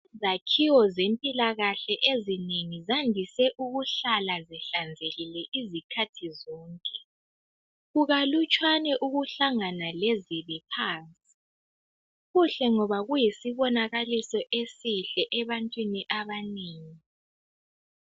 Izakhiwo zempilakahle ezinengi zandise ukuhlala zihlanzekile izikhathi zonke. Kukalutswana ukuhlangana lezibi phansi. Kuhle ngoba kuyisibonakaliso esihle ebantwini abanengi.